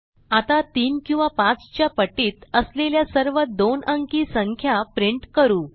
आता 3 किंवा 5 च्या पटीत असलेल्या सर्व दोन अंकी संख्या प्रिंट करू